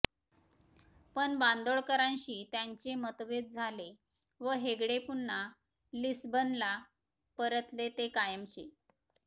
पण बांदोडकरांशी त्यांचे मतभेद झाले व हेगडे पुन्हा लिस्बनला परतले ते कायमचे